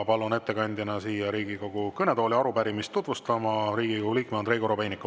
Palun ettekandjana siia Riigikogu kõnetooli arupärimist tutvustama Riigikogu liikme Andrei Korobeiniku.